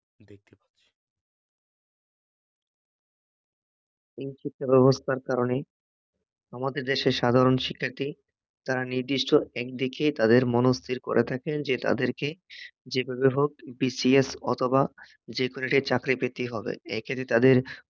এই শিক্ষাব্যবস্থার কারণে আমাদের দেশের সাধারণ শিক্ষার্থী, তারা নির্দিষ্ট একদিকে তাদের মনস্থির করা থাকে যে তাদেরকে যেভাবেই হোক বিসিএস অথবা যেকোনো একটা চাকরি পেতেই হবে, এক্ষেত্রে তাদের